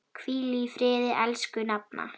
Hvíl í friði, elsku nafna.